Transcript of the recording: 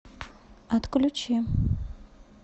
отключи